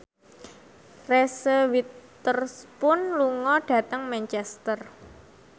Reese Witherspoon lunga dhateng Manchester